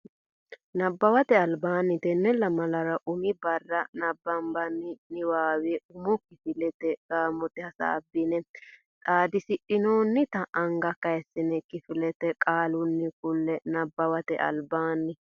Nabbawate Albaanni Tenne lamalara umi barra nabbabbini niwaawe umo kifilete gaamote hasaabbine xaadisidhinoonnita anga kayissine kifilete qaalunni kulle Nabbawate Albaanni.